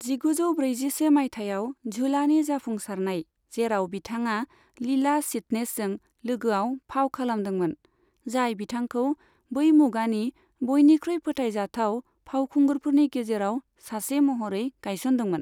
जिगुजौ ब्रैजिसे माइथायाव झुलानि जाफुंसारनाय, जेराव बिथाङा लिला चिटनेसजों लोगोआव फाव खालामदोंमोन, जाय बिथांखौ बै मुगानि बयनिख्रुइ फोथायजाथाव फावखुंगुरफोरनि गेजेराव सासे महरै गायसनदोंमोन।